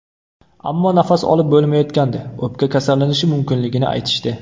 Ammo nafas olib bo‘lmayotgandi, o‘pka kasallanishi mumkinligini aytishdi.